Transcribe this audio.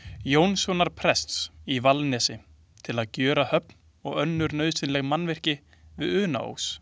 Jónssonar prests í Vallanesi, til að gjöra höfn og önnur nauðsynleg mannvirki við Unaós.